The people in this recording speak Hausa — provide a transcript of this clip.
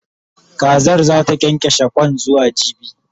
Kazar zata kyankyashe Kwan zuwa jibi